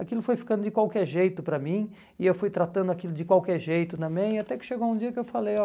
Aquilo foi ficando de qualquer jeito para mim, e eu fui tratando aquilo de qualquer jeito também, e até que chegou um dia que eu falei, ó,